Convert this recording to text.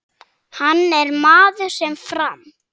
Hann er maður sem fram